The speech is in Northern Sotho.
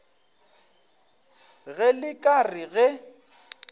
ge le ka re ge